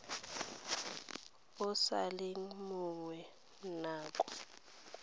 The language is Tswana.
o sa leng monnye nako